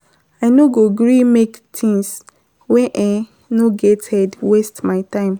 I no go gree make tins wey um no get head waste my time.